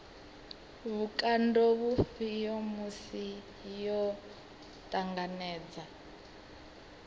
vhukando vhufhio musi yo ṱanganedza